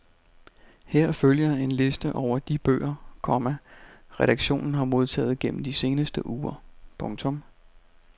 Her følger en liste over de bøger, komma redaktionen har modtaget gennem de seneste uger. punktum